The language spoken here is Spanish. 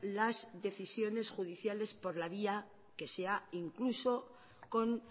las decisiones judiciales por la vía que sea incluso con